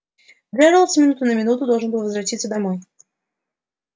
джералд с минуты на минуту должен был возвратиться домой